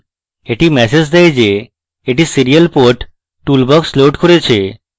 এটি ম্যাসেজ দেয় যে এটি serial port toolbox লোড করেছে